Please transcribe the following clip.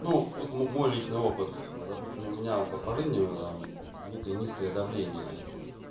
ну вот мой личный опыт допустим у меня по жизни некое низкое давление